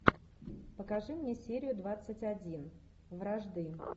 покажи мне серию двадцать один вражды